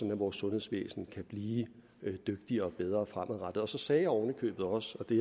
vores sundhedsvæsen kan blive dygtigere og bedre fremadrettet så sagde jeg ovenikøbet også i